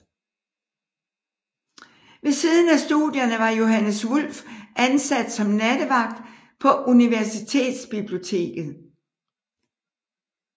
Ved siden af studierne var Johannes Wulff ansat som nattevagt på universitetsbiblioteket